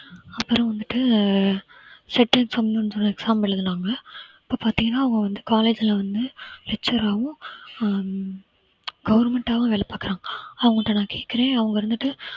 அப்புறம் வந்துட்டு settle exam எழுதினாங்க இப்ப பார்த்தீங்கன்னா அவங்க வந்து college ல வந்து lecture ஆவும் ஹம் government ஆவும் வேலை பாக்குறாங்க அவங்கள்ட்ட நான் கேட்கிறேன் அவங்க இருந்துட்டு